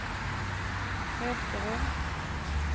Hökerum